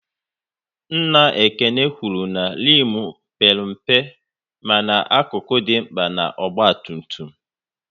Nna Ekene kwụrụ na rimu père mpe mana akụkụ dị mkpa na ọgba tum tum